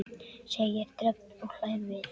segir Dröfn og hlær við.